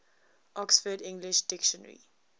oxford english dictionary